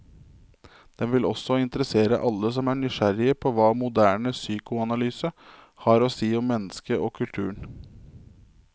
Den vil også interessere alle som er nysgjerrig på hva moderne psykoanalyse har å si om mennesket og kulturen.